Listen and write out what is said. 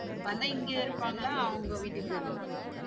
அண்ணே இங்க இருப்பாங்களா அவங்க வீட்டுக்கு போய்டுவாங்களா?